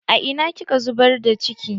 A ina kika zubar da ciki?